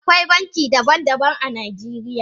Akwai banki daban daban a Najeriya.